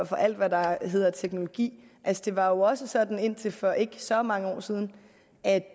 for alt hvad der hedder teknologi det var jo også sådan indtil for ikke så mange år siden at